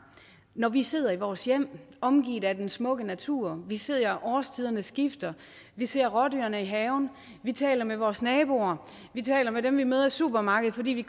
når vi sidder i vores hjem omgivet af den smukke natur vi ser årstiderne skifte vi ser rådyrene i haven vi taler med vores naboer vi taler med dem vi møder i supermarkedet fordi vi